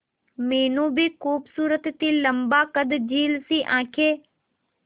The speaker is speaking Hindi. मीनू भी खूबसूरत थी लम्बा कद झील सी आंखें